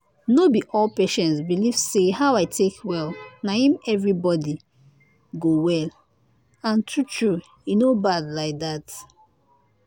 no be all patients believe say how i take well na him everybody him everybody go well and true true e no bad like that